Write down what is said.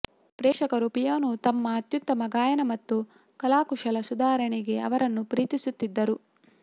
ಪ್ರೇಕ್ಷಕರ ಪಿಯಾನೊ ತಮ್ಮ ಅತ್ಯುತ್ತಮ ಗಾಯನ ಮತ್ತು ಕಲಾಕುಶಲ ಸುಧಾರಣೆಗೆ ಅವರನ್ನು ಪ್ರೀತಿಸುತ್ತಿದ್ದರು